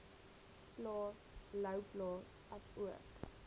plaas louwplaas asook